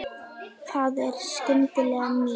Það er skylda mín.